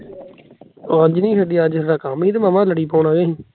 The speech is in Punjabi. ਉਹ ਅੱਜ ਨੀ ਖੇਡੀ ਅੱਜ ਇਸਦਾ ਕੰਮ ਨੀ ਸੀ ਮਾਮਾ ਲੜੀ ਪਾਉਣਾ ਏ